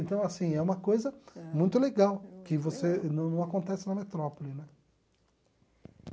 Então, assim, é uma coisa muito legal que você não não acontece na metrópole, né?